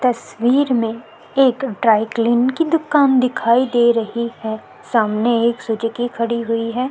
तस्वीर में एक ड्राईक्लीन की दुकान दिखाई दे रही है सामने एक सुजीकी खड़ी हुई है।